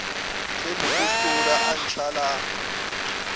ge mopostola a ntšha la